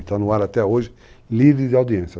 Está no ar até hoje livre de audiência.